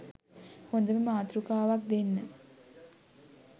හොඳ මාතෘකාවක් දෙන්න